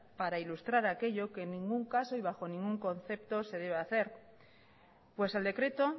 para ilustrar aquello que en ningún caso y bajo ningún concepto se debe hacer pues el decreto